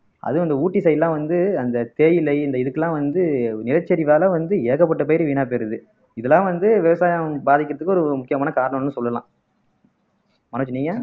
அதுவும் அந்த அதுவும் இந்த ஊட்டி side எல்லாம் வந்து அந்த தேயிலை இந்த இதுக்கு எல்லாம் வந்து நிலச்சரிவால வந்து ஏகப்பட்ட பயிர் வீணா போயிறுது இதெல்லாம் வந்து விவசாயம் பாதிக்கறதுக்கு ஒரு முக்கியமான காரணம்ன்னு சொல்லலாம் மனோஜ் நீங்க